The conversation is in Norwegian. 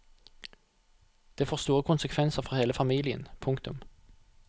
Det får store konsekvenser for hele familien. punktum